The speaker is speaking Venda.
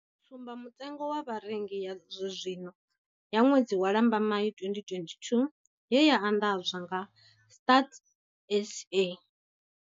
Tsumbamutengo wa vharengi ya zwenezwino ya ṅwedzi wa Lambamai 2022 ye ya anḓadzwa nga Stats SA.